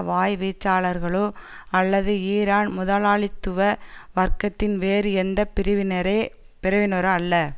வாய்ச்வீச்சாளர்களோ அல்லது ஈரான் முதலாளித்துவ வர்க்கத்தின் வேறு எந்த பிரிவினரே பிரிவினரோ அல்ல